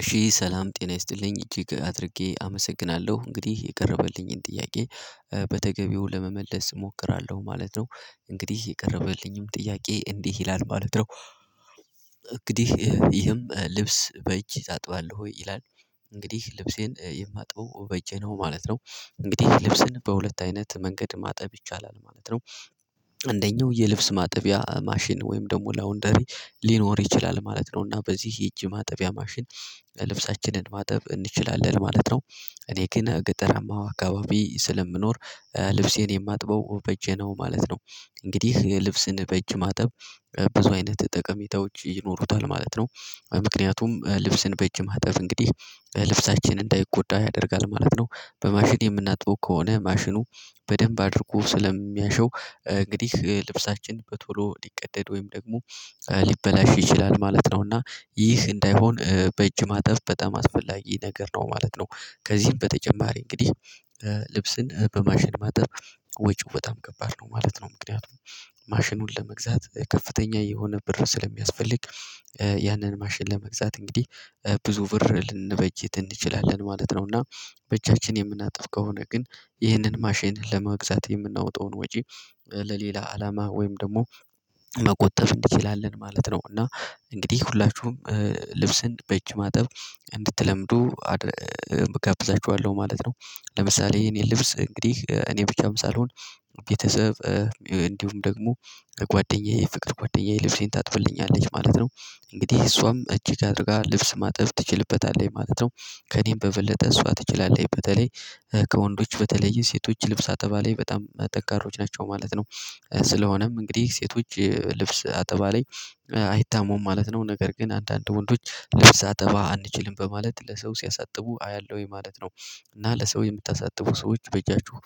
እሺ ሰላም ጤና ይስጥልኝ እጅግ አድርጌ አመሰግናለሁ እንግዲህ የቀረበልኝን ጥያቄ በተገቢው ለመመለስ እሞክራለሁ ማለት ነው እንግዲህ የቀረበልኝም ጥያቄ እንዲህ ይላል ማለት ነው። እንግዲህ ይህም ልብስ በጅህ ታጥባለህ ወይ ይላል? እንግዲህ ልብሴን የማጥበው በእጀ ነው ማለት ነው። እንግዲህ ልብስን በሁለት አይነት መንገድ ማጠብ ይቻላል ማለት ነው። እንደኛው የልብስ ማጥቢያ ማሽን ወይም ደግሞ ላውንደሪ ሊኖር ይችላል ማለት ነው እና በዚህ የእጅ ማጥቢያ ማሽን ልብሳችንን ማጠብ እንችላለን ማለት ነው። እኔ ግን ገጠራማ አካባቢ ስለምኖር ልብሴን የማጥበው በእጄ ነው ማለት ነው። እንግዲህ ልብስን በእጅ ማጠብ ብዙ አይነት ጠቀሜታዎች ይኖሩታል ማለት ነው። ምክንያቱም ልብስን በእጅ ማጠብ እንግዲህ ልብሳችን እንዳይጎዳ ያደርጋል ማለት ነው፤ በማሽን የምናጥበው ከሆነ ማሽኑ በደንብ አድርጎ ስለሚያሸው እንግዲህ ልብሳችን በቶሎ ሊቀደድ ወይም ደግሞ ሊበላሽ ይችላል ማለት ነው እና ይህ እንዳይሆን በእጅ ማጠብ በጣም አስፈላጊ ነገር ነው ማለት ነው። ከዚህም በተጨማሪ እንግዲህ ልብስን በማሽን ማጠብ ወጭው በጣም ከባድ ነው ማለት ነው። ምክንያቱም ማሽኑን ለመግዛት ከፍተኛ የሆነ ብር ስለሚያስፈልግ ያንን ማሽን ለመግዛት እንግዲህ ብዙ ብር ልንበጅት እንችላለን ማለት ነው። እና በእጃችን የምናጠብ ከሆነ ግን ይህንን ማሽን ለመግዛት የምናወጣውን ወጪ ለሌላ አላማ ወይም ደግሞ መቆጠብ እንችላልን ማለት ነው። እና እንግዲህ ሁላችሁም ልብስን በእጅ ማጠብ እንድትለምዱ እጋብዛችኋለሁ ማለት ነው። ለምሳሌ የኔ ልብስ እንግዲህ እኔ ብቻም ሳልሆን ቤተሰብ እንዲሁም ደግሞ ጓደኛዬ የፍቅር ጓደኛዬ ልብሴን ታጥብልኛለች ማለት ነው። እንግዲህ እሷም እጅግ አድርጋ ልብስ ማጠብ ትችልበታለች ማለት ነው። ከእኔም በበለጠ እሷ ትችላለች በተለይ ከወንዶች በተለይ ሴቶች ልብስ አጠባ ለይ በጣም ጠንካሮች ናቸው ማለት ነው፤ ስለሆነም እንግዲህ ሴቶች ልብስ አጠባ ላይ አይታሙም ማለት ነው ነገር ግን አንዳንድ ወንዶች ልብስ አጠባ አንችልም በማለት ለሰው ሲያሳጥቡ አያለሁኝ ማለት ነው። እና ለሰው የምታሳጥቡ ሰዎች በእጃችሁ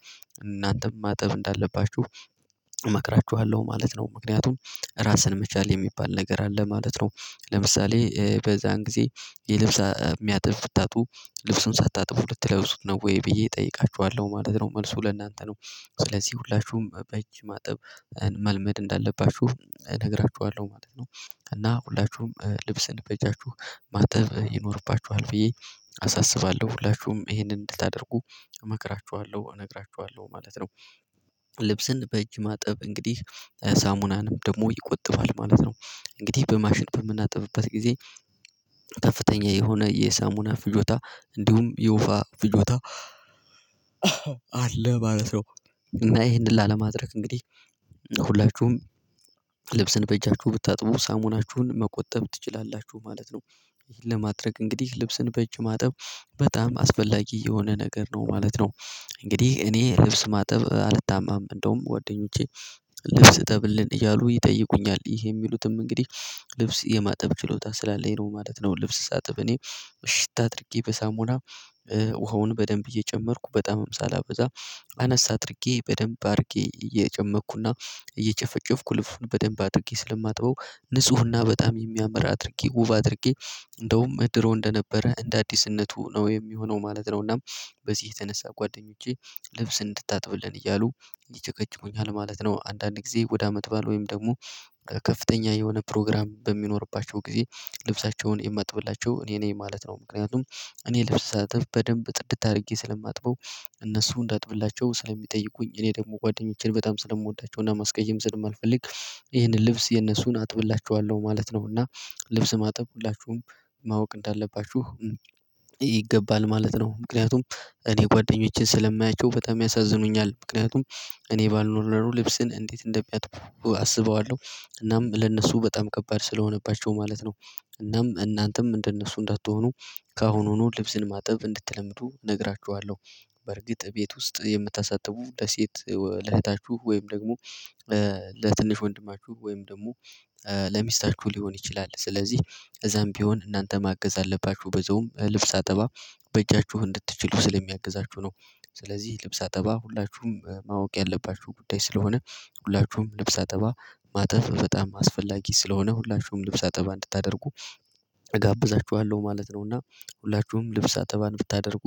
እናንተም ማጠብ እንዳለባችሁ እመክራችኋለሁ ማለት ነው። ምክንያቱም ራስን መቻል የሚባል ነገር አለ ማለት ነው። ለምሳሌ በዛን ጊዜ የልብስ የሚያጥብ ብታጥጡ ልብሱን ሳታጥቡ ልትለብሱት ነው ወይ ብዬ እጠይቃችኋለሁ ማለት ነው? መልሱ ለእናንተ ነው። ስለዚህ ሁላችሁም በእጅ ማጠብ መልመድ እንዳለባችሁ እነግራችኋለሁ ማለት ነው። እና ሁላችሁም ልብስን በጃችሁ ማጥብ ይኖርባችኋል ብዬ አሳስባለሁ ሁላችሁም ይሄንን እንድታደርጉ እመክራችኋለሁ፤ እነግራችኋለሁ ማለት ነው። ልብስን በእጅ ማጠብ እንግዲህ ሳሙናንም ደግሞ ይቆጥባል ማለት ነው። እንግዲህ በማሽን በምናጠብበት ጊዜ ከፍተኛ የሆነ የሳሙና ፍጆታ እንዲሁም የውሃ ፍጆታ አለ ማለት ነው። እና ይሄን ላለማድረግ እንግዲህ ሁላችሁም ልብስን በእጃችሁ ብታጥቡ ሳሙናችሁን መቆጠብ ትችላላችሁ ማለት ነው። ይሄን ለማድረግ እንግዲህ ልብስን በእጅ ማጠብ በጣም አስፈላጊ የሆነ ነገር ነው ማለት ነው። እንግዲህ እኔ ልብስ ማጠብ አልታማም እንደውም ጓደኞቼ ልብስ እጠብልን እያሉ ይጠይቁኛል ይሄ የሚሉትም እንግዲህ ልብስ የማጠብ ችሎታ ስላለኝ ነው ማለት ነው። ልብስ ሳጥብ እኔ እሽት አድርጌ በሳሙና ውሃውን በደንብ እየጨመርኩ በጣምም ሳላበዛ አነሳ አድርጌ በደንብ አድርጌ እየጨመቅኩና እየጨፈጨፍኩ ልብሱን በደንብ አድርጌ ስለማጥበው ንፁህና በጣም የሚያመራ አድርጌ ውብ አድርጌ እንደውም እድሮ እንደነበረ እንደ አዲስነቱ ነው የሚሆነው ማለት ነው። እናም በዚህ የተነሳ ጓደኞቼ ልብስ እንድታጥብልን እያሉ ይጨቀጭቁኛል ማለት ነው። አንዳንዴ ወደ አመት ባል ወይም ደግሞ ከፍተኛ የሆነ ፕሮግራም በሚኖርባቸው ጊዜ ልብሳቸውን የማጥብላቸው እኔ ነኝ ማለት ነው። ምክንያቱም እኔ ልብስ ሳጥብ በደንብ ጥድት አድርጌ ስለማጥበው እነሱ እንዳጥብላቸው ስለሚጠይቁኝ እኔ ደግሞ ጓደኞቼን በጣም ስለምወዳቸው እና ማስቀየም ስለማልፈልግ ይሄንን ልብስ የነሱን አጥብላቸዋለሁ ማለት ነው። እና ልብስ ማጥብ ሁላችሁም ማወቅ እንዳለባችሁ ይገባል ማለት ነው። ምክንያቱም እኔ ጓደኞቼን ስለማያቸው በጣም ያሳዝኑኛል ምክንያቱም እኔ ባልኖር ነሮ ልብስን እንዴት እንደሚያጥቡ አስበዋለሁ? እናም ለእነሱ በጣም ከባድ ስለሆነባቸው ማለት ነው። እናም እናንተም እንደነሱ እንዳትሆኑ ከአሁኑኑ ልብስን ማጥብ እንድትለምዱ እነግራችኋለሁ። በርግጥ ቤት ውስጥ የምታሳጥቡ ለሴት ለእህታችሁ ወይም ደግሞ ለትንሽ ወንድማችሁ ወይም ደግሞ ለሚስታችሁ ሊሆን ይችላል ስለዚህ። እዛም ቢሆን እናንተ ማገዝ አለባችሁ በዚያውም ልብስ አጠባ በእጃችሁ እንድትችሉ ስለሚያግዛችሁ ነው። ስለዚህ ልብስ አጠባ ሁላችሁም ማወቅ ያለባችሁ ጉዳይ ስለሆነ ሁላችሁም ልብስ አጠባ ማጠፍ በጣም አስፈላጊ ስለሆነ ሁላችሁም ልብስ አጠባ እንድታደርጉ እጋብዛችኋለሁ ማለት ነው። እና ሁላችሁም ልብስ አጠባን ብታደርጉ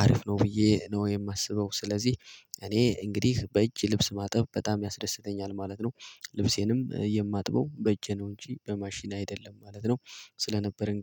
አሪፍ ነው ብዬ ነው የማስበው። ስለዚህ እኔ እንግዲህ በእጅ ልብስ ማጥብ በጣም ያስደስተኛል ማለት ነው። ልብሴንም የማጥበው በጄ ነው እንጂ በማሽን አይደለም ማለት ነው። ስለነበረ እንግዲህ